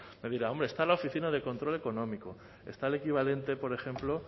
me dirá hombre está la oficina de control económico está el equivalente por ejemplo